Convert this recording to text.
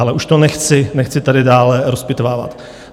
Ale už to nechci tady dále rozpitvávat.